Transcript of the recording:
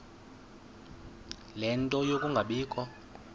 ie nto yokungabikho